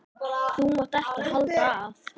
Þú mátt ekki halda að.